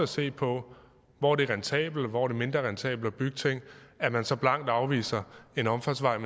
se på hvor det er rentabelt og hvor det er mindre rentabelt at bygge ting at man så blankt afviser en omfartsvej